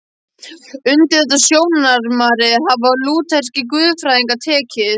Undir þetta sjónarmið hafa lútherskir guðfræðingar tekið.